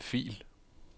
Gem fil.